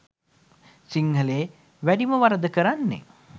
සිංහලයේ වැඩිම වරද කරන්නේ